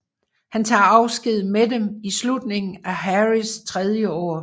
Han tager afsked med dem i slutningen af Harrys tredje år